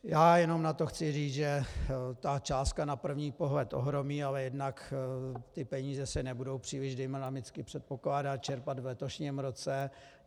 Já jenom na to chci říct, že ta částka na první pohled ohromí, ale jednak ty peníze se nebudou příliš dynamicky, předpokládám, čerpat v letošním roce.